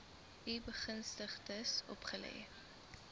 u begunstigdes opgelê